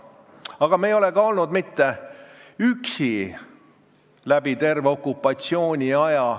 Aga me ei olnud üksi ka läbi terve okupatsiooniaja.